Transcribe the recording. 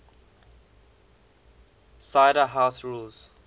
cider house rules